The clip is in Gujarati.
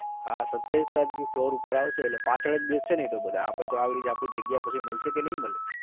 હા સત્યાવીસ તારીખ થી floor ઉપર આવશે એટ્લે પાછડ જ બેસસે ને એ તો બધા અપડે તો આપડી જગ્યા પછી મળશે કે નહીં મળે?